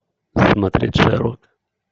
смотреть шерлок